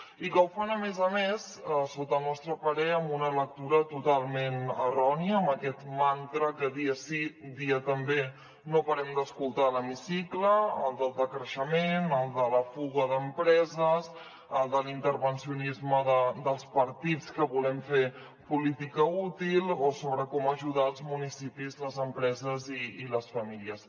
i que ho fan a més a més sota el nostre parer amb una lectura totalment errònia amb aquest mantra que dia sí dia també no parem d’escoltar a l’hemicicle el del decreixement el de la fuga d’empreses el de l’intervencionisme dels partits que volem fer política útil o sobre com ajudar els municipis les empreses i les famílies